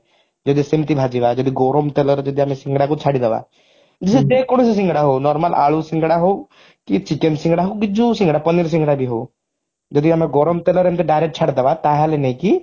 ଯଦି ସେମିତି ଭଜିବା ଆଉ ଯଦି ଗରମ ତେଲରେ ଆମେ ସିଙ୍ଗଡାକୁ ଛାଡି ଦବା ଯେ କୌଣସି ସିଙ୍ଗଡା ହଉ normal ଆଳୁ ସିଙ୍ଗଡା ହଉ କି chicken ସିଙ୍ଗଡା ହଉ କି ଯଉ ସିଙ୍ଗଡା କି paneer ସିଙ୍ଗଡା ବି ହଉ ଯଦି ଆମେ ଗରମ ତେଲରେ ଆମେ direct ଛାଡିଦବା ତାହେଲେ ନେଇକି